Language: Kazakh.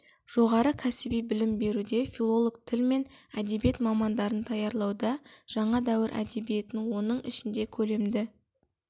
жоғары кәсіби білім беруде филолог тіл мен әдебиет мамандарын даярлауда жаңа дәуір әдебиетін оның ішінде көлемді